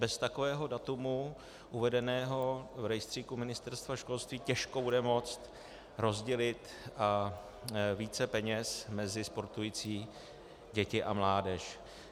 Bez takového data uvedeného v rejstříku Ministerstva školství těžko bude moct rozdělit více peněz mezi sportující děti a mládež.